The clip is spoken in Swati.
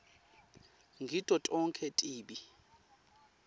ngito tonkhe tibi